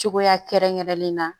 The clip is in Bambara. Cogoya kɛrɛnkɛrɛnlen na